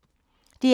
DR K